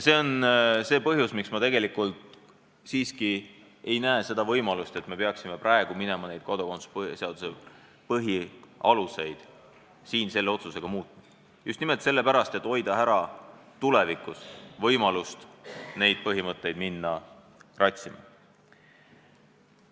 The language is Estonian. See on see põhjus, miks ma tegelikult siiski ei näe seda võimalust, et me peaksime praegu hakkama kodakondsuse põhialuseid selle otsusega muutma, just nimelt sellepärast, et hoida ära tulevikus võimalust neid põhimõtteid kratsima hakata.